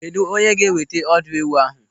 Kedụ onye ga-eweta ọdụ ewu ahụ?